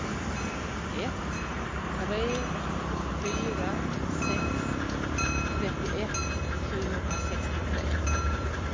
ett tre fyra sex trettioett sjuhundrasextiotre